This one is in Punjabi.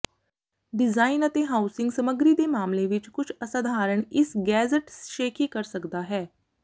ਡਿਜ਼ਾਇਨ ਅਤੇ ਹਾਊਸਿੰਗ ਸਮੱਗਰੀ ਦੇ ਮਾਮਲੇ ਵਿੱਚ ਕੁਝ ਅਸਧਾਰਨ ਇਸ ਗੈਜ਼ਟ ਸ਼ੇਖੀ ਕਰ ਸਕਦਾ ਹੈ